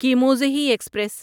کیموزہی express